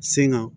Senga